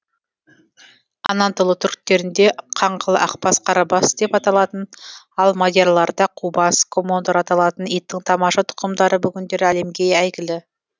анадолы түріктерінде қаңғал ақбас қарабас деп аталатын ал мадьярларда кубас комондор аталатын иттің тамаша тұқымдары бүгіндері әлемге әйгілі